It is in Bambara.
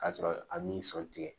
K'a sɔrɔ a m'i sɔn tigɛ